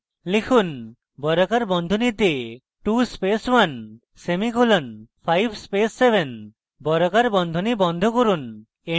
লিখুন বর্গাকার বন্ধনীতে 2 space 1 সেমিকোলন 5 space 7 বর্গাকার বন্ধনী বন্ধ করুন